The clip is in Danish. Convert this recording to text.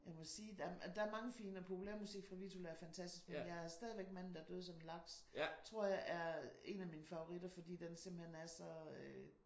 Jeg må sige der er mange fine og Populærmusik fra Vittula er fantastisk men jeg er stadig Manden der døde som en laks tror jeg er en af mine favoritter fordi den simpelthen er så